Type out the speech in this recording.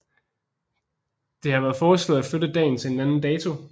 Det har været foreslået at flytte dagen til en anden dato